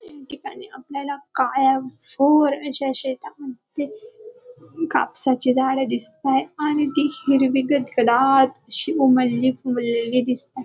तीन ठिकाणी आपल्याला काळ्याभोर अशा शेतामध्ये कापसाचे झाड दिसतायेत आणि ती हिरवी गत दाट अशी उमललेली फुललेली दिसताय.